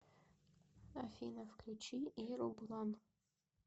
афина включи иру блан